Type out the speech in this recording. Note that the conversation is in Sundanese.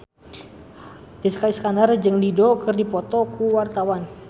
Jessica Iskandar jeung Dido keur dipoto ku wartawan